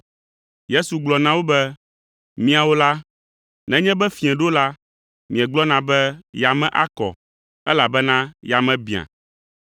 Yesu gblɔ na wo be, “Miawo la, nenye be fiẽ ɖo la, miegblɔna be, ‘Yame akɔ, elabena yame biã,’